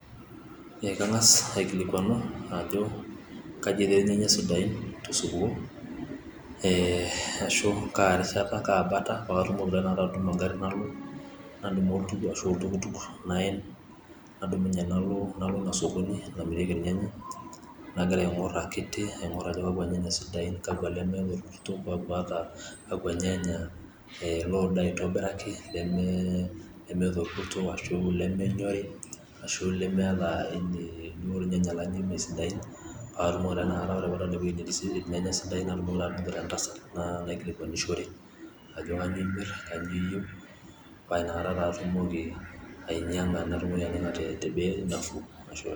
Ekang'as aikilikwanu ajo, kaji etii irnyanya sidain tosupuko. Eh ashu karishata kabata patumoki tataata atuuno garrin nalo, nadumu ashu oltukutuk naen. Nadumunye nalo inasokoni namirieki irnyanya, nagira aing'or akiti aing'or ajo kakwa nyanya sidain, kakwa lemeeta orkuso, kakwa nyanya loodo aitobiraki, lemeeta orkuso ashu lemenyori, ashu lemeeta ijo irnyanya lemesidain. Patumoki ta tanakata ore paadol ewei netii irnyanya sidain ore padol entasat nalo aikilikwanishore, ajo kanyioo imir kanyioo iyieu. Pa inakata taa atumoki ainyang'a natumoki ayawa tebei nafuu.